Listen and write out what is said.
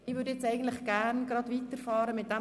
Ich sehe keine Einwände.